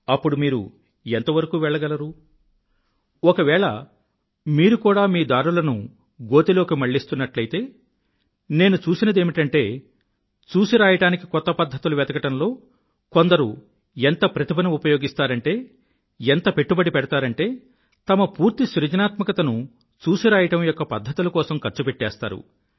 అప్పుడు మీరు ఎంతవరకు వెళ్లగలరు ఒకవేళ మీరు కూడా మీ దారులను గోతిలోకి మళ్ళిస్తున్నట్లయితే నేను చూసినదేమిటంటే చూసిరాయడానికి కొత్త పధ్ధతులు వెతకడంలో కొందరు ఎంత ప్రతిభను ఉపయోగిస్తారంటే ఎంత పెట్టుబడి పెడతారంటే తమ పూర్తి సృజనాత్మకతను చూసిరాయడం యొక్క పధ్ధతుల కోసం ఖర్చు పెట్టేస్తారు